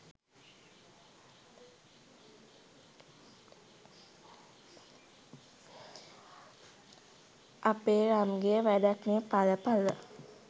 අපේ රම්ගෙ වැඩක් නෙහ් එල එල